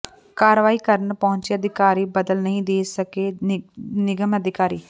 ਕਾਰਵਾਈ ਕਰਨ ਪਹੁੰਚੇ ਅਧਿਕਾਰੀ ਬਦਲ ਨਹੀਂ ਦੇ ਸਕੇ ਨਿਗਮ ਅਧਿਕਾਰੀ